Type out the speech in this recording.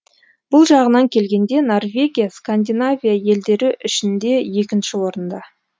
бұл жағынан келгенде норвегия скандинавия елдері ішінде екінші орында